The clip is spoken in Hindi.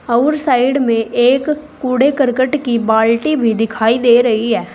और साइड में एक कूड़े करकट की बाल्टी भी दिखाई दे रही है।